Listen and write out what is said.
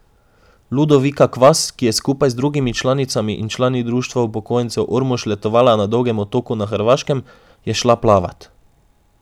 Ludovika Kvas, ki je skupaj z drugimi članicami in člani Društva upokojencev Ormož letovala na Dolgem otoku na Hrvaškem, je šla plavat.